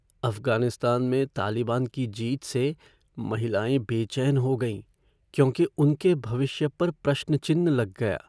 अफ़गानिस्तान में तालिबान की जीत से महिलाएँ बेचैन हो गईं क्योंकि उनके भविष्य पर प्रश्नचिह्न लग गया।